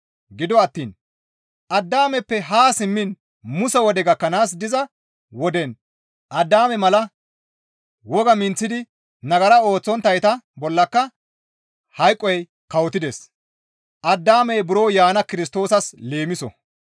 Gido attiin Addaameppe haa simmiin Muse wode gakkanaas diza woden Addaame mala woga menththidi nagara ooththonttayta bollaka hayqoy kawotides; Addaamey buro yaana Kirstoosas leemiso.